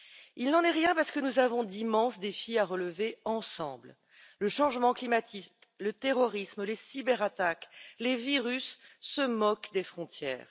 Il n'en est rien, parce que nous avons d'immenses défis à relever ensemble le changement climatique, le terrorisme, les cyberattaques, les virus se moquent des frontières.